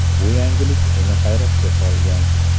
Bu yangilik uni hayratga solgan.